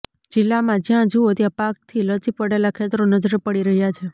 જિલ્લામાં જ્યાં જૂઓ ત્યા પાકથી લચી પડેલા ખેતરો નજરે પડી રહ્યા છે